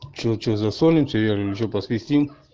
что что засолить или ничего посвистим